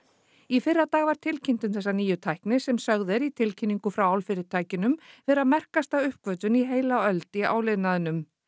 í fyrradag var tilkynnt um þessa nýju tækni sem sögð er í tilkynningu frá álfyrirtækjunum vera merkasta uppgötvun í heila öld í áliðnaðinum